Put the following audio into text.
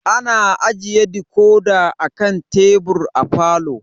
Ana ajiye dikodi a kan tebur a falo.